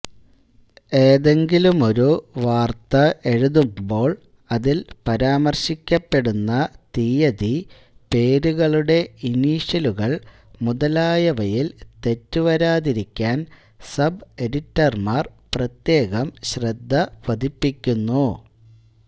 ഏതെങ്കിലുമൊരു വാർത്ത എഴുതുമ്പോൾഅതിൽപരാമർശിക്കപ്പെടുന്ന തിയതി പേരുകളുടെ ഇനിഷ്യലുകൾ മുതലായവയിൽ തെറ്റുവരാതിരിക്കാൻ സബ് എഡിറ്റർമാർ പ്രത്യേകം ശ്രദ്ധ പതിപ്പിക്കുന്നു